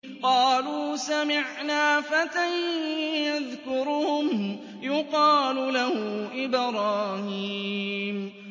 قَالُوا سَمِعْنَا فَتًى يَذْكُرُهُمْ يُقَالُ لَهُ إِبْرَاهِيمُ